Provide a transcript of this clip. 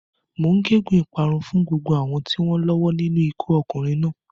Mò ń gégùn ún ìparun fún gbogbo àwọn tí wọ́n lọ́wọ́ nínú ikú ọkùnrin náà.